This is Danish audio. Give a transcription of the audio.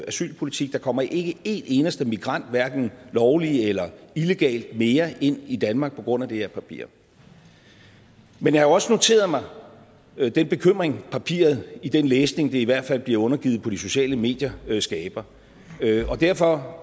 asylpolitik der kommer ikke en eneste migrant hverken lovligt eller illegalt mere ind i danmark på grund af det her papir men jeg har også noteret mig den bekymring papiret i den læsning det i hvert fald bliver undergivet på de sociale medier skaber derfor